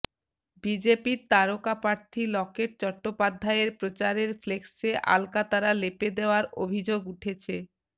বিজেপির তারকা প্রার্থী লকেট চট্টোপাধ্যায়ের প্রচারের ফ্লেক্সে আলকাতরা লেপে দেওয়ার অভিযোগ উঠেছে